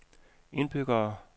indbyggere